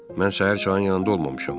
Mən səhər çayın yanında olmamışam.